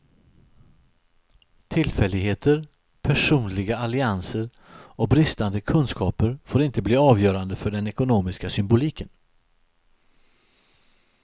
Tillfälligheter, personliga allianser och bristande kunskaper får inte bli avgörande för den ekonomiska symboliken.